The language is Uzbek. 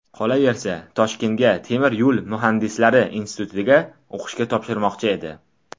Qolaversa, Toshkentga Temir yo‘l muhandislari institutiga o‘qishga topshirmoqchi edi.